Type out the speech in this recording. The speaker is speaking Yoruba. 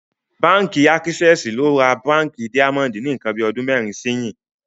Bánkì Àkísẹsì ló rà Bánkì Daimondì ní nkan bí ọdún mẹrin síyìn